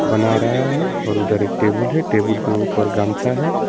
बना रहा है और उधर एक टेबुल है टेबुल के ऊपर गमछा है।